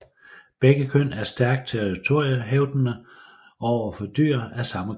Begge køn er stærkt territoriehævdende over for dyr af samme køn